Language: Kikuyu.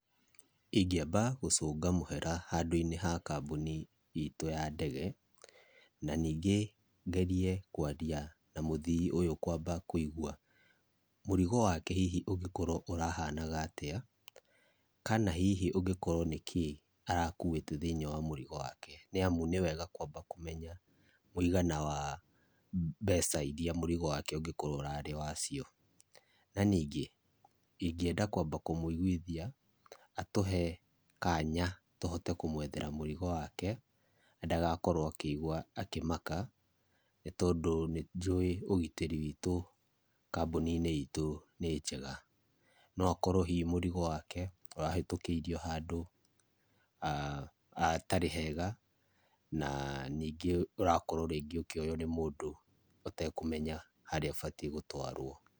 Ingĩamba gũcũnga mũhera handũ-inĩ ha kambuni itũ ya ndege na ningĩ ngerie kwaria na mũthii ũyũ kwamba kũigũa mũrigo wake hihi ũngĩkorwa ũrahanaga atĩa kana hihi ũngĩkorwo nĩkĩĩ arakũĩta thĩiniĩ wa mũrigo wake, niamũ niwega kwamba kũmenya mũigana wa mbeca iria mũrigo wake ũngĩkorwo ũrarĩ wacio. Na ningĩ ingĩenda kwamba kũmũigwithia atuhe kanya tũhote kũmwethera mũrigo wake na ndagakorwo akĩigua akĩmaka nĩtondũ nĩnjũĩ ũgítĩri witũ kambũni-inĩ itũ nĩ njega. No akorwo hihi mũrigo wake ũrahĩtũkĩirio handũ a hatarĩ hega na ningĩ ũrakorwo ningĩ ũkĩoywo nĩ mũndũ ũtekũmenya harĩa ũbatie gũtwarwo.